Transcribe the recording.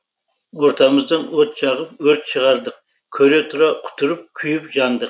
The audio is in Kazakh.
ортамыздан от жағып өрт шығардық көре тұра құтырып күйіп жандық